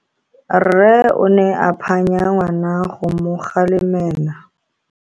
Rre o ne a phanya ngwana go mo galemela.